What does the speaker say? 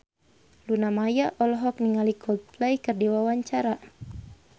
Luna Maya olohok ningali Coldplay keur diwawancara